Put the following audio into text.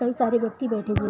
कई सारे व्यक्ति बैठे हुए है।